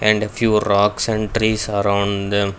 And a few rocks and trees around them.